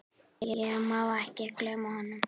Ég má ekki gleyma honum.